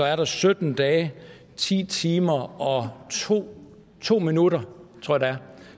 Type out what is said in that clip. er sytten dage ti timer og to to minutter